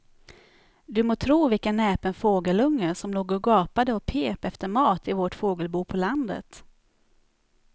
Du må tro vilken näpen fågelunge som låg och gapade och pep efter mat i vårt fågelbo på landet.